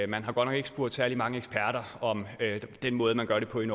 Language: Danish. man har godt nok ikke spurgt særlig mange eksperter om den måde man gør det på i